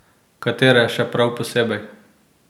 Katere še prav posebej?